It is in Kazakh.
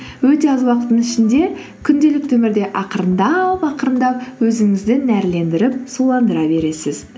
өте аз уақыттың ішінде күнделікті өмірде ақырындап ақырындап өзіңізді нәрлендіріп суландыра бересіз